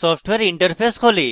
software interface খোলে